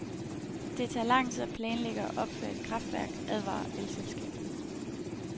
Det tager lang tid at planlægge og opføre et kraftværk, advarer elselskaberne.